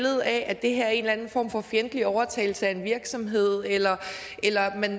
af at det her er en eller anden form for fjendtlig overtagelse af en virksomhed eller eller